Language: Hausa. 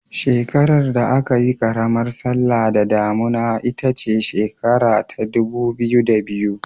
Shekarar da aka yi karamar sallah da damuna ita ce shekara ta 2002.